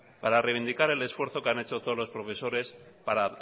reivindicar el esfuerzo que han hecho todos los profesores para